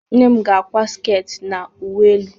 Nne m ga-akwa sket na uwe elu.